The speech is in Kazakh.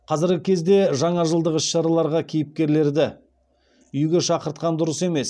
қазіргі кезде жаңажылдық іс шараларға кейіпкерлерді үйге шақыртқан дұрыс емес